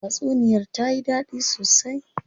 Tatsuniyar tayi dadi sosai.